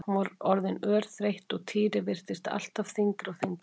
Hún var orðin örþreytt og Týri virtist alltaf þyngri og þyngri.